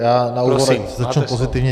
Já na úvod začnu pozitivně.